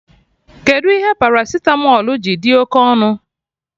Kedụ ihe paracitamọl ji dị oké ọnụ